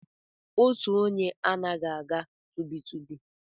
Otu onye anaghị aga tụbi tụbi